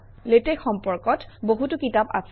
LaTeX সম্পৰ্কত বহুতো কিতাপ আছে